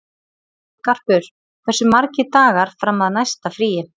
Garpur, hversu margir dagar fram að næsta fríi?